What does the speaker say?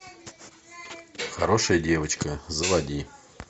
хорошая девочка заводи